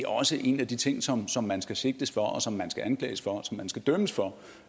også er en af de ting som som man skal sigtes for og som man skal anklages for og som man skal dømmes for